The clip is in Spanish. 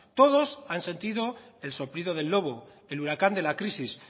todos han sentido el soplido del lobo el huracán de la crisis